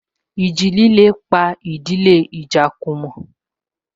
Ìjì líle pa ìdílé Ijakumo